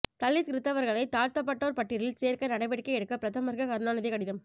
தலித் கிறிஸ்தவர்களை தாழ்த்தப்பட்டோர் பட்டியலில் சேர்க்க நடவடிக்கை எடுக்க பிரதமருக்கு கருணாநிதி கடிதம